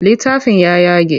Littafin ya yage.